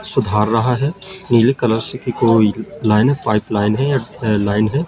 सुधार रहा है नीले कलर सी की कोई लाइन है पाइप लाइन है या अ लाइन है।